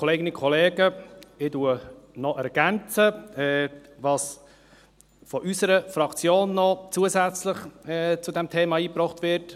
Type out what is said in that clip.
Ich ergänze, was von unserer Fraktion zusätzlich zu diesem Thema eingebracht wird.